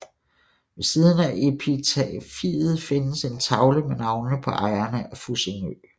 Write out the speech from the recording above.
Ved siden af epitafiet findes en tavle med navnene på ejerne af Fussingø